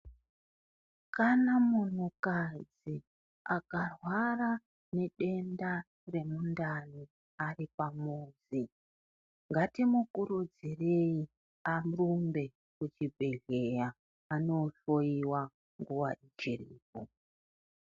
Kana munhu kadzi akarwara ne denda re mundani ari pamuzi ngati mukurudzirei arumbe ku chibhedhleya ano hloyiwa nguva ichiripo.